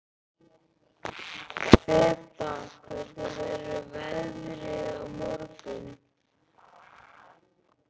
Þeba, hvernig verður veðrið á morgun?